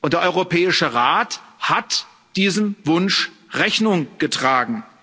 Der Europäische Rat hat diesem Wunsch Rechnung getragen.